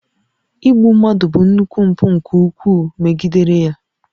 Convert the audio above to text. Igbu mmadụ bụ nnukwu mpụ nke iwu megidere ya